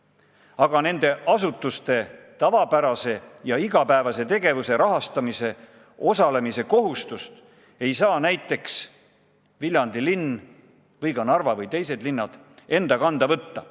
Aga nende asutuste tavapärase ja igapäevase tegevuse rahastamise kohustust ei saa näiteks ei Viljandi, Narva ega teised linnad enda kanda võtta.